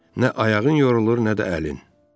Nə ayağın yorulur, nə də əlin.